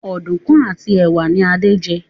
Oduku àti ẹwà ní Ade jé.